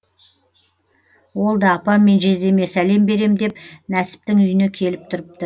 ол да апам мен жездеме сәлем берем деп нәсіптің үйіне келіп тұрыпты